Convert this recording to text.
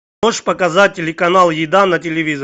можешь показать телеканал еда на телевизоре